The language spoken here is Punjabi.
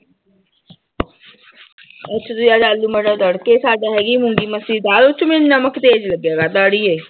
ਅਸੀਂ ਤਾਂ ਯਾਰ ਆਲੂ ਮਟਰ ਤੜਕੇ ਸਾਡਾ ਹੈਗੀ ਮੂੰਗੀ ਮਸਰੀ ਦਾਲ ਉਹ ਚ ਮੈਨੂੰ ਨਮਕ ਤੇਜ ਲੱਗਿਆ ਕਰਦਾ ਆੜੀਏ।